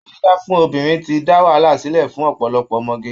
Abẹ́ dídá fún obìnrin ti dá wàhálà sílẹ̀ fún ọ̀pọ̀lọpọ̀ ọmọge